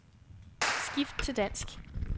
Skift til dansk.